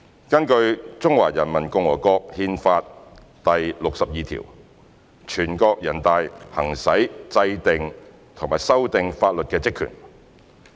根據《中華人民共和國憲法》第六十二條，全國人大行使制定和修改法律的職權。